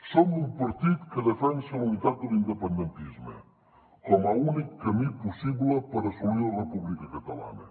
som un partit que defensa la unitat de l’independentisme com a únic camí possible per assolir la república catalana